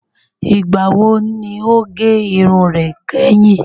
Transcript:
Ìgbà wo ni o gẹ irun rẹ kẹ́hìn?